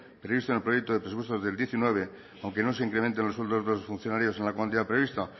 previsto en el proyecto de presupuestos del diecinueve aunque no se incrementen los sueldos de los funcionarios en la cuantía prevista